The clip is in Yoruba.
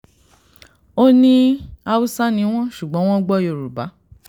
ó ní haúsá ni wọ́n ṣùgbọ́n wọ́n gbọ́ yorùbá